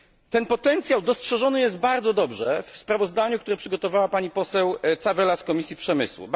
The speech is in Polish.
Ten potencjał dostrzeżony jest bardzo dobrze w sprawozdaniu, które przygotowała pani poseł Tzavela z Komisji Przemysłu.